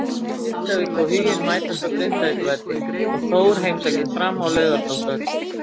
Grindavík og Huginn mætast á Grindavíkurvelli og Þór heimsækir Fram á Laugardalsvöll.